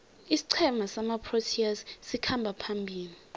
isiqhema samaproteas sikhamba phambili